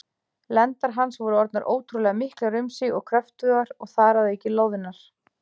Lendar hans voru orðnar ótrúlega miklar um sig og kröftugar, og þar að auki loðnar.